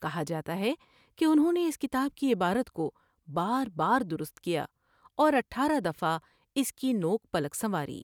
کہا جا تا ہے کہ انھوں نے اس کتاب کی عبارت کو بار بار درست کیا اور اٹھارہ دفعہ اس کی نوک پلک سنواری ۔